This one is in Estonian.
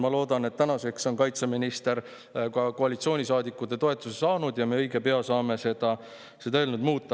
Ma loodan, et tänaseks on kaitseminister ka koalitsioonisaadikute toetuse saanud ja me õige pea saame seda eelnõu muuta.